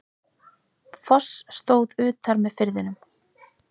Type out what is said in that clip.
Foss stóð utar með firðinum.